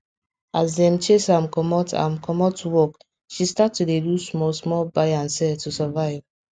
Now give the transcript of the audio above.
as dem chase am comot am comot work she start to dey do small small buy and sell to survive